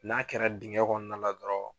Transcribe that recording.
N'a kɛra dingɛn kɔnɔna la dɔrɔn